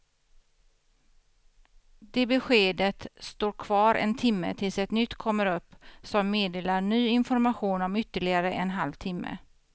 Det beskedet står kvar en timme tills ett nytt kommer upp som meddelar ny information om ytterligare en halv timme.